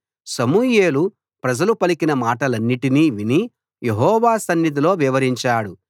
సమూయేలు ప్రజలు పలికిన మాటలన్నిటినీ విని యెహోవా సన్నిధిలో వివరించాడు